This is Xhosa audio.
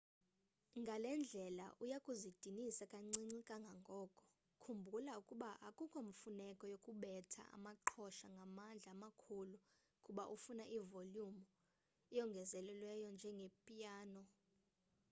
ngale ndlela uya kuzidinisa kancinci kangangoko khumbula ukuba akukho mfuneko yokubetha amaqhosha ngamandla amakhulu kuba ufuna ivolumu eyongezelelweyo njengepiyano